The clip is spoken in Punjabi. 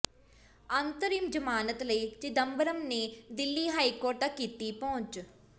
ਅੰਤਰਿਮ ਜ਼ਮਾਨਤ ਲਈ ਚਿਦੰਬਰਮ ਨੇ ਦਿੱਲੀ ਹਾਈਕੋਰਟ ਤੱਕ ਕੀਤੀ ਪਹੁੰਚ